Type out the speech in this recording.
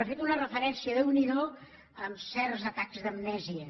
una referència déu n’hi do amb certs atacs d’amnèsia